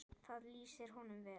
Það lýsir honum vel.